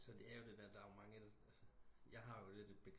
Så det er jo det der der er jo mange jeg har jo lidt et